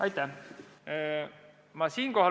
Aitäh!